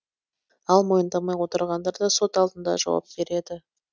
ал мойындамай отырғандар сот алдында жауап береді